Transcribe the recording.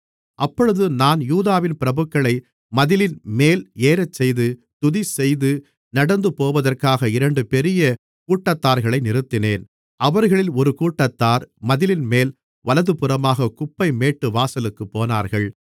அப்பொழுது நான் யூதாவின் பிரபுக்களை மதிலின்மேல் ஏறச்செய்து துதிசெய்து நடந்துபோவதற்காக இரண்டு பெரிய கூட்டத்தார்களை நிறுத்தினேன் அவர்களில் ஒரு கூட்டத்தார் மதிலின்மேல் வலதுபுறமாகக் குப்பைமேட்டு வாசலுக்குப் போனார்கள்